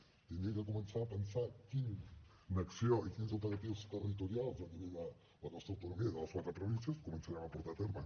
hauríem de començar a pensar quina acció i quins operatius territorials a nivell de la nostra autonomia de les quatre províncies començarem a portar a terme